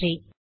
நன்றி